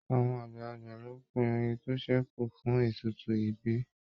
Àwọn àgbàlagbà ló pin oyin tó sẹku fún ètùtù ibí.